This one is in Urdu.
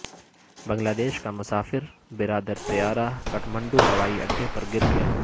بنگلہ دیش کا مسافر بردار طیارہ کھٹمنڈو ہوائی اڈے پر گرگیا